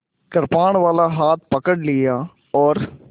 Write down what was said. कृपाणवाला हाथ पकड़ लिया और